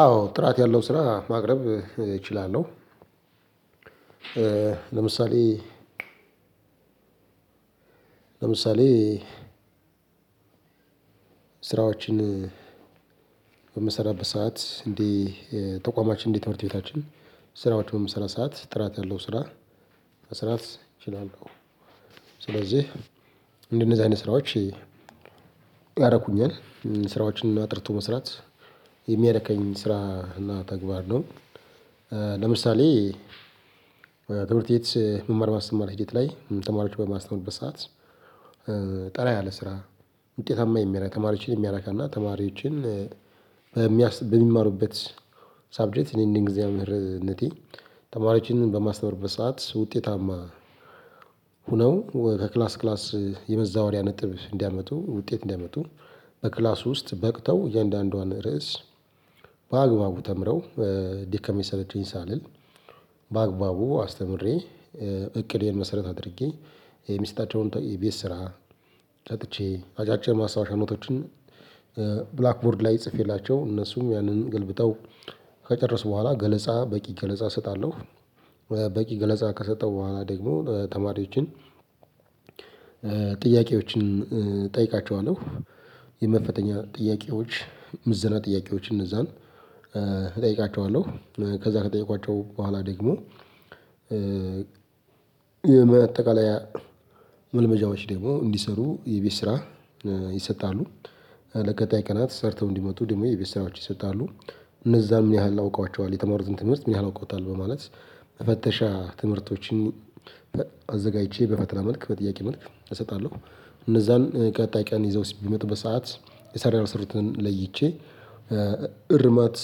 አዎ ጥራት ያለው ስራ ማቅረብ እችላለሁ። ለምሳሌ። ለምሳሌ። ስራዎችን በምሰራበት ሰዓት እንዴ ተቋማችን እንዴት ትምህርት ቤታችን ስራዎቹን በምሰራ ሰዓት ጥራት ያለው ስራ። ስራ እችላለሁ። ስለዚህ እንደነዚህ አይነት ስራዎች ያረኩኛል ስራዎችን አጥርቶ መስራት የሚያረካኝ ስራ እና ተግባር ነው። ለምሳሌ ትምህርት ቤት መማር ማስተማር ሂደት ላይ ተማሪዎች በማስተምርበት ሰዓት። ጠራ ያለ ስራ። ውጤታማ የሚረካ ተማሪዎችን የሚያረካና ተማሪዎችን በሚማሩበት ሳብጀክ እኔ እንደ እንግሊዘኛ መምህርነቴ ተማሪዎችን በማስተርበት ሰዓት ውጤታማ። ሆነው ከክላስ ክላስ የመዛወሪያ ነጥብ እንዲያመጡ ውጤት እንዳመጡ በክላስ ውስጥ በቅተው የእያንዳንዷን ርዕስ በአግባቡ ተምረው ደከመኝ ሰለቸኝ ሳልል። በአግባቡ አስተምሬ እቅዴን መሰረት አድርጌ የሚሰታቸውን የቤት ስራ ሰጥቼ አጫጭር ማስታወሻ ኖቶችን ብላክ ቦርድ ላይ ጽፌላቸው እነሱም ያንን ገልብጠው ከጨረስኩ በኋላ ገለጻ በቂ ገለጻ እሰጣለሁ። በቂ ገለጻ ከሰጠው በኋላ ደግሞ ተማሪዎችን ጥያቄዎችን እጠይቃቸዋለሁ። የመፈተኛ ጥያቄዎች ምዝና ጥያቄዎች እነዛን እጠይቃቸዋለሁ ከዛ ከጠየቋቸው በኋላ ደግሞ የመጠቀለያ መልመጃዎች ደግሞ እንዲሰሩ የቤት ስራ ይሰጣሉ። ለቀጣይ ቀናት ሰርተው እንዲመጡ ደግሞ የቤት ስራዎች ይሰጣሉ። እነዛን ምን ያህል አውቋቸዋል የተማሩትን ትምህርት ምን ያህል አውቀውታል በማለት መፈተሻ ትምህርቶችን አዘጋጅቼ በፈተና መልክ በጥያቄ መልክ እሰጣለሁ። እነዛን ቀጣይ ቀን ይዘው በሚመጡ ሰዓት የሰሩ ያልሰሩትን ለይቼ እርማት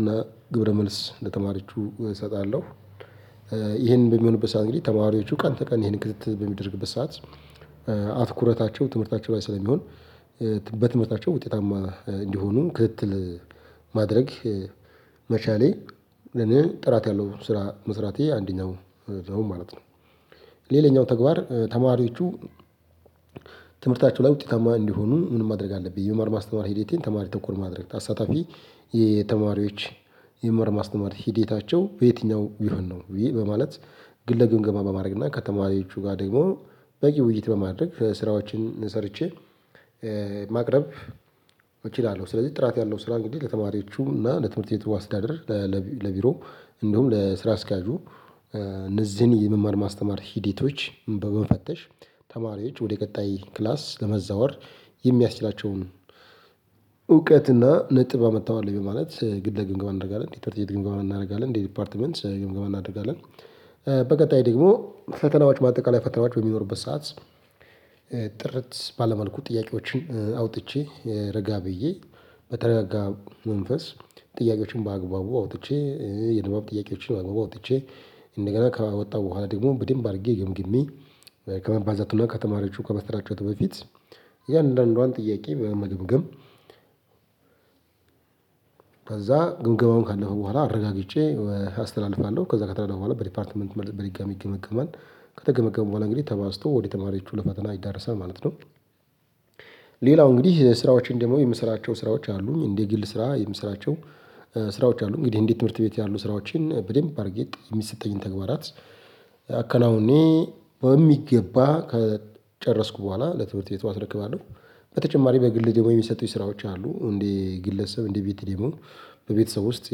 እና ግብረ መልስ ለተማሪዎቹ እሰጣለሁ። ይሄንን በሚሆኑበት ሰዓት እንግዲህ ተማሪዎቹ ቀን ተቀን ይሄንን ክትትል በሚደርግበት ሰዓት አትኩረታቸው ትምህርታቸው ላይ ስለሚሆን። በትምህርታቸው ውጤታማ እንዲሆኑ ክትትል ማድረግ መቻሌ ለኔ ጥራት ያለው ስራ መስራቴ አንደኛው ነው ማለት ነው። ሌላኛው ተግባር ተማሪዎቹ ትምህርታቸው ላይ ውጤታማ እንዲሆኑ ምንም ማድረግ አለብኝ የመማር ማስተማር ሂደቴን ተማሪ ተኩል ማድረግ አሳታፊ የተማሪዎች የመር ማስተማር ሂደታቸው በየትኛው ይሁን ነው ብዬ በማለት ግለ ግምገማ በማድረግ ከተማዋሪዎቹ ጋር ደግሞ በቂ ውይይት በማድረግ ስራዎችን ሰርቼ። ማቅረብ እችላለሁ። ስለዚህ ጥራት ያለው ስራ እንግዲህ ለተማሪዎቹም እና ለትምህርት ቤት አስተዳደር ለቢሮም እንደውም ለስራ አስኪያጁ እነዚህ የመማር ማስተማር ሂዴቶች በመፈተሽ ተማሪዎች ወደ ቀጣይ ክላስ ለመዛወር የሚያስችላቸውን እውቀት እና ነጥብ አምጥተዋል ማለት ግለ ግምግማ እናደርጋለን እንደ ትምህርት ቤት ግምግማ እናደርጋለን እንዴ ዲፓርትመንት ግምግማ እናደርጋለን። በቀጣይ ደግሞ ፈተናዎች አጠቃላይ ፈተናዎች በሚኖርበት ሰዓት ጥርት ባለመልኩ ጥያቄዎችን አውጥቼ ረጋ ብዬ። በተረጋጋ መንፈስ ጥያቄዎችን በአግባቡ አውጥቼ የንባብ ጥያቄዎችን በአግባቡ አውጥቼ እንደገና ከወጣሁ በኋላ ደግሞ በደንብ አድርጌ ገምግሜ። ከዛ ቀጥሎ ከተማሪዎቹ ከመሰራጨቱ በፊት የአንዳንዷን ጥያቄ በመገምገም። ከዛ ግምገመውን ካለፈ በኋላ አረጋግጬ አስተላልፋለሁ ከዛ ከተሄደው በኋላ በዲፓርትመንት በድጋሚ ይገመገማል ከተገመገመ አንግዲህ ተባዝቶ ወደ ተማሪዎቹ ለፈተና ይደርሳል ማለት ነው። ሌላው እንግዲህ ስራዎችን ደግሞ የምስራቸው ስራዎች አሉኝ እንዴ ግል ስራ የምስራቸው። ስራዎች አሉ እንግዲህ እንዴት ትምህርት ቤት ያሉ ስራዎችን በደንብ አድርጌ የሚሰጠኝን ተግባራት። አከናውኔ በሚገባ ከጨረስኩ በኋላ ለትምህርት ቤቱ አስረክባለሁ። በተጨማሪ በግል ደግሞ የሚሰጡኝ ስራዎች አሉ እንዴ ግለሰብ እንዴ ቤት የሚሆኑ በቤተሰብ ውስጥ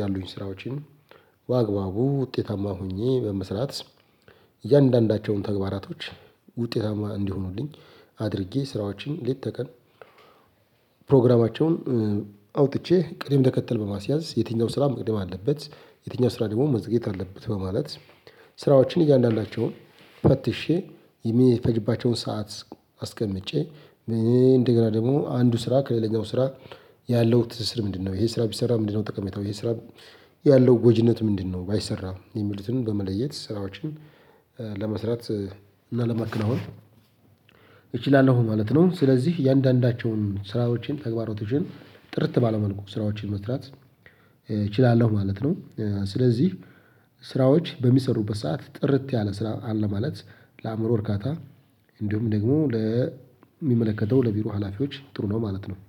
ያሉኝ ስራዎችን በአግባቡ ውጤታማ ሆኜ በመስራት። እያንዳንዳቸውን ተግባራቶች ውጤታማ እንዲሆኑልኝ አድርጌ ስራዎችን ሌት ተቀን ፕሮግራማቸውን አውጥቼ ቅድም ተከተል በማስያዝ የትኛው ስራ መቅደም አለበት። የትኛው ስራ ደግሞ መዘግየት አለበት በማለት። ስራዎችን እያንዳዳቸውን ፈትሼ የሚፈጅባቸውን ሰዓት አስቀምጬ እንደገና ደግሞ አንዱ ስራ ከሌለኛው ስራ ያለው ትስስር ምንድነው? ይሄ ስራ ቢሰራ ምንድነው ጠቀሜታው? ይሄ ስራ ያለው ጎጅነት ምንድነው? ባይሰራም የሚሉትን በመለየት ስራዎችን ለመስራት እና ለማክናውን እችላለሁ። ማለት ነው ስለዚህ የእያንዳንዳቸውን ስራዎችን ተግባሮችን ጥርት ባለ መልኩ ስራዎችን መስራት እችላለሁ ማለት ነው። ስለዚህ ስራዎች በሚሰሩበት ሰዓት ጥርት ያለ ስራ አለ። ማለት ለአእምሮ እርካታ እንዲሁም ደግሞ ለሚመለከተው ለቢሮ ሀላፊዎች ጥሩ ነው ማለት ነው